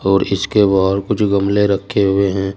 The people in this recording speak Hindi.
और इसके बाहर कुछ गमले रखे हुए हैं।